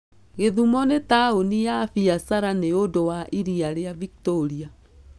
Gĩthumo nĩ taũni ya biashara nĩ ũndũ wa iria rĩa Victoria.